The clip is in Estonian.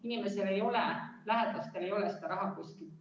Peeter Ernits, palun!